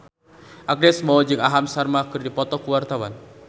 Agnes Mo jeung Aham Sharma keur dipoto ku wartawan